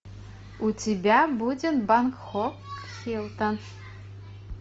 у тебя будет бангкок хилтон